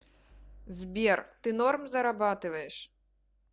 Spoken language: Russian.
сбер ты норм зарабатываешь